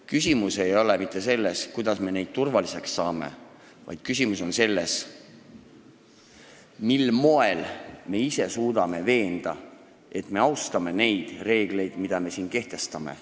Küsimus ei ole mitte selles, kuidas me neid turvaliseks saame, vaid küsimus on selles, mil moel me suudame veenda, et me austame neid reegleid, mida me siin kehtestame.